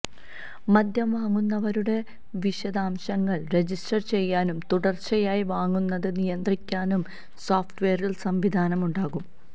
മദ്യം വാങ്ങുന്നവരുടെ വിശദാംശങ്ങൾ രജിസ്റ്റർ ചെയ്യാനും തുടർച്ചയായി വാങ്ങുന്നത് നിയന്ത്രിക്കാനും സോഫ്റ്റ്വേറിൽ സംവിധാനം ഉണ്ടാകും